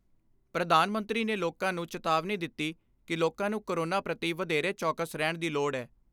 ਪ੍ਰਧਾਨ ਮੰਤਰੀ ਨੇ ਲੋਕਾਂ ਨੂੰ ਚਿਤਾਵਨੀ ਦਿੱਤੀ ਕਿ ਲੋਕਾਂ ਨੂੰ ਕੋਰੋਨਾ ਪ੍ਰਤੀ ਵਧੇਰੇ ਚੌਕਸ ਰਹਿਣ ਦੀ ਲੋੜ ਏ।